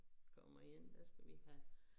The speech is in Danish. Kommer hjem så skal vi have